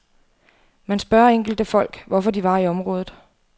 Man spørger enkelte folk, hvorfor de var i området.